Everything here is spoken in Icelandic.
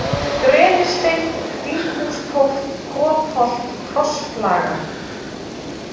Grenisteinn, Þinghústóft, Kotholt, Krossflaga